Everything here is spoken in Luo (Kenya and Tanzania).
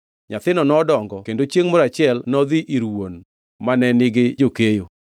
Nyathino nodongo kendo chiengʼ moro achiel nodhi ir wuon, mane nigi jokeyo.